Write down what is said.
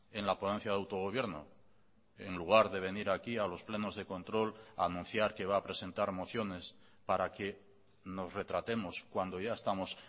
en la ponencia de autogobierno en lugar de venir aquí a los plenos de control a anunciar que va a presentar mociones para que nos retratemos cuando ya estamos